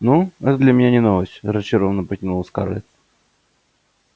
ну это для меня не новость разочарованно протянула скарлетт